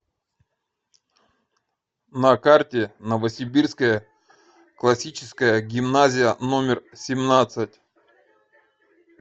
на карте новосибирская классическая гимназия номер семнадцать